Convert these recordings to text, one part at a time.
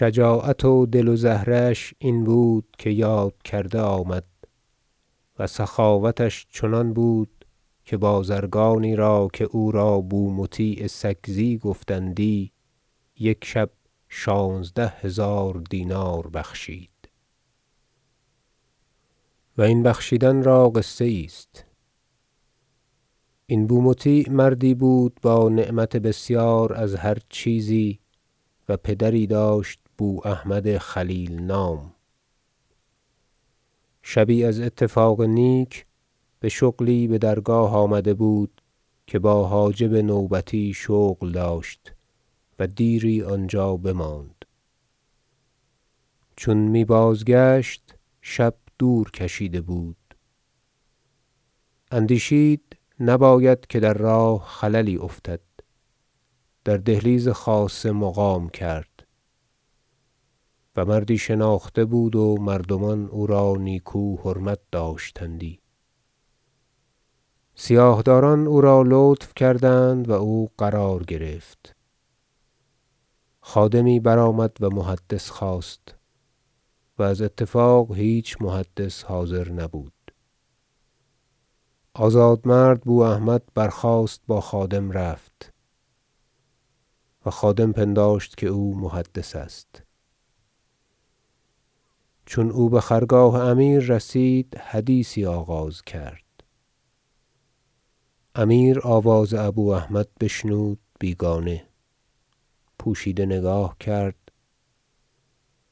شجاعت و دل و زهره اش این بود که یاد کرده آمد و سخاوتش چنان بود که بازرگانی که او را بومطیع سکزی گفتندی یک شب شانزده هزار دینار بخشید و این بخشیدن را قصه یی است این بومطیع مردی بود با نعمت بسیار از هر چیزی و پدری داشت بواحمد خلیل نام شبی از اتفاق نیک به شغلی به درگاه آمده بود که با حاجب نوبتی شغل داشت و دیری آنجا بماند چون می بازگشت شب دور کشیده بود اندیشید نباید که در راه خللی افتد در دهلیز خاصه مقام کرد -و مردی شناخته بود و مردمان او را نیکو حرمت داشتندی- سیاه داران او را لطف کردند و او قرار گرفت خادمی برآمد و محدث خواست و از اتفاق هیچ محدث حاضر نبود آزادمرد بواحمد برخاست با خادم رفت و خادم پنداشت که او محدث است چون او به خرگاه امیر رسید حدیثی آغاز کرد امیر آواز ابواحمد بشنود بیگانه پوشیده نگاه کرد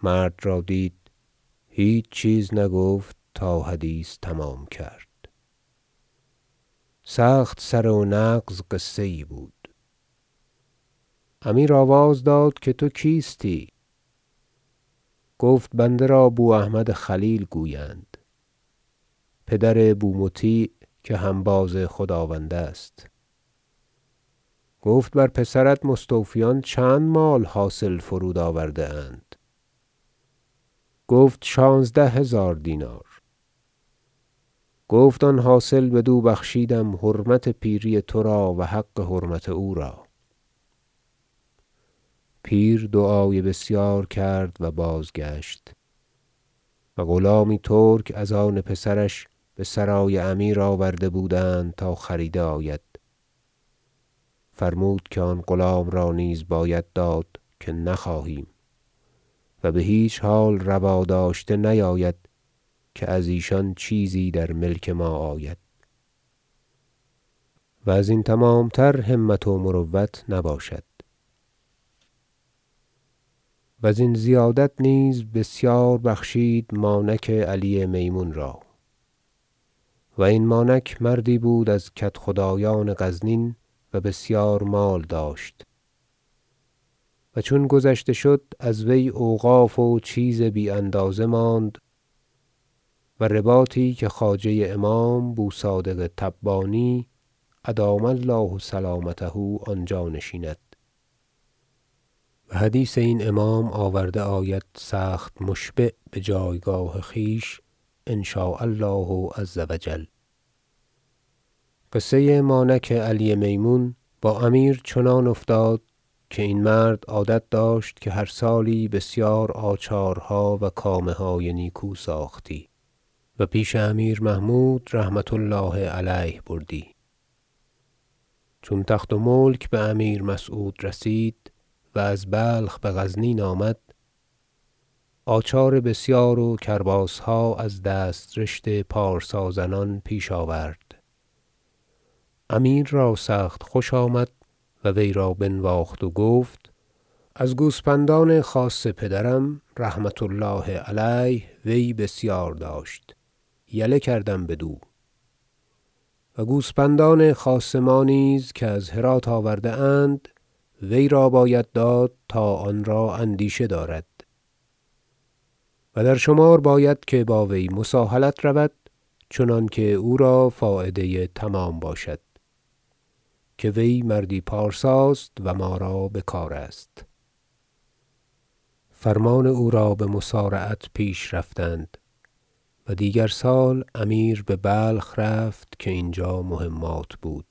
مرد را دید هیچ چیز نگفت تا حدیث تمام کرد سخت سره و نغز قصه یی بود امیر آواز داد که تو کیستی گفت بنده را بواحمد خلیل گویند پدر بومطیع که هنباز خداوند است گفت بر پسرت مستوفیان چند مال حاصل فرود آورده اند گفت شانزده هزار دینار گفت آن حاصل بدو بخشیدم حرمت پیری تو را و حق حرمت او را پیر دعای بسیار کرد و بازگشت و غلامی ترک از آن پسرش به سرای امیر آورده بودند تا خریده آید فرمود که آن غلام را نیز باید داد که نخواهیم و به هیچ حال روا داشته نیاید که از ایشان چیزی در ملک ما آید و از این تمام تر همت و مروت نباشد وزین زیادت نیز بسیار بخشید مانک علی میمون را و این مانک مردی بود از کدخدایان غزنین و بسیار مال داشت و چون گذشته شد از وی اوقاف و چیز بی اندازه ماند و رباطی که خواجه امام بوصادق تبانی _أدام الله سلامته - آنجا نشیند و حدیث این امام آورده آید سخت مشبع به جایگاه خویش إن شاء الله عز و جل قصه مانک علی میمون با امیر چنان افتاد که این مرد عادت داشت که هر سالی بسیار آچارها و کامه های نیکو ساختی و پیش امیر محمود -رحمة الله علیه- بردی چون تخت و ملک به امیر مسعود رسید و از بلخ به غزنین آمد آچار بسیار و کرباسها از دسترشت پارسا زنان پیش آورد امیر را سخت خوش آمد و وی را بنواخت و گفت از گوسپندان خاص پدرم -رحمة الله علیه- وی بسیار داشت یله کردم بدو و گوسپندان خاص ما نیز که از هرات آورده اند وی را باید داد تا آن را اندیشه دارد و در شمار باید که با وی مساهلت رود چنانکه او را فایده تمام باشد که وی مردی پارساست و ما را بکار است فرمان او را بمسارعت پیش رفتند و دیگر سال امیر به بلخ رفت که اینجا مهمات بود-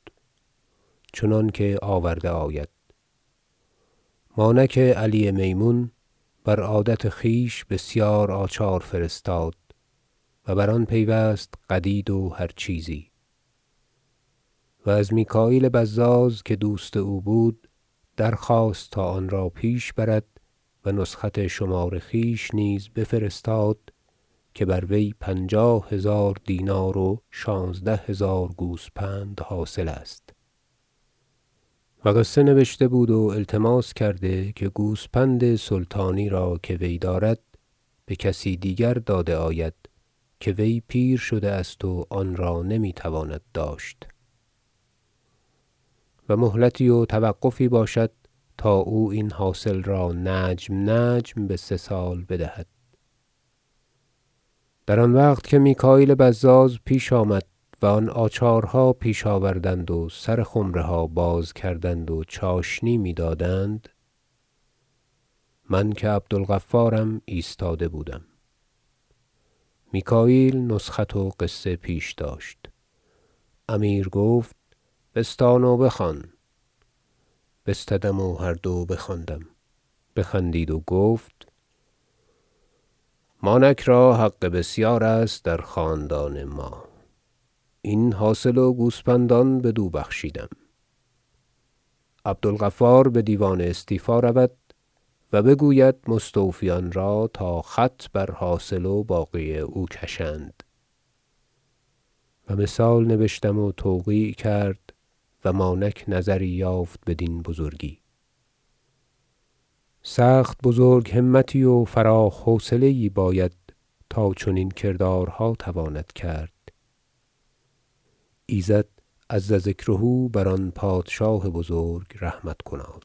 چنانکه آورده آید- مانک علی میمون بر عادت خویش بسیار آچار فرستاد و بر آن پیوست قدید و هر چیزی و از میکاییل بزاز که دوست او بود درخواست تا آن را پیش برد و نسخت شمار خویش نیز بفرستاد که بر وی پنجاه هزار دینار و شانزده هزار گوسپند حاصل است و قصه نبشته بود و التماس کرده که گوسپند سلطانی را که وی دارد به کسی دیگر داده آید که وی پیر شده است و آن را نمی تواند داشت و مهلتی و توقفی باشد تا او این حاصل را نجم نجم به سه سال بدهد در آن وقت که میکاییل بزاز پیش آمد و آن آچارها پیش آوردند و سر خمره ها باز کردند و چاشنی میدادند من که عبدالغفارم ایستاده بودم میکاییل نسخت و قصه پیش داشت امیر گفت بستان و بخوان بستدم و هر دو بخواندم بخندید و گفت مانک را حق بسیارست در خاندان ما این حاصل و گوسپندان بدو بخشیدم عبدالغفار به دیوان استیفا رود و بگوید مستوفیان را تا خط بر حاصل و باقی او کشند و مثال نبشتم و توقیع کرد و مانک نظری یافت بدین بزرگی سخت بزرگ همتی و فراخ حوصله یی باید تا چنین کردار تواند کرد ایزد -عز ذکره- بر آن پادشاه بزرگ رحمت کناد